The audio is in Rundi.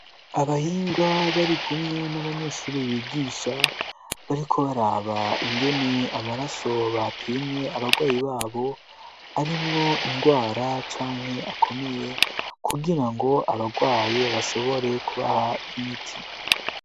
abahinga barikumwe n'abanyeshuri bigisha bariko baraba ingene amaraso bapimye abagwayi babo arimwo indwara canke akomeye kugirango abarwaye bashobore kubamiti